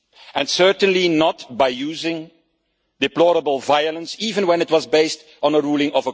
and certainly not by using deplorable violence, even though it is based on a court ruling.